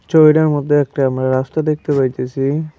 চরুইডার মধ্যে একটা আমরা রাস্তা দেখতে পাইতেসি।